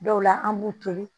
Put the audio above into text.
Dɔw la an b'u toli